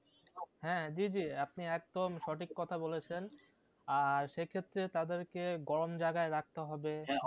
হ্যাঁ জি জি আপনি একদম সঠিক কথা বলেছেন আর সে ক্ষেত্রে তাদেরকে গরম জায়গাও রাখতে হবে,